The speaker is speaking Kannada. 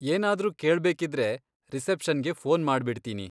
ಏನಾದ್ರೂ ಕೇಳ್ಬೇಕಿದ್ರೆ, ರಿಸೆಪ್ಷನ್ಗೆ ಫೋನ್ ಮಾಡ್ಬಿಡ್ತೀನಿ.